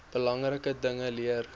belangrike dinge leer